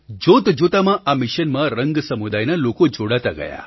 જોતજોતામાં આ મિશનમાં રંગ સમુદાયના લોકો જોડાતા ગયા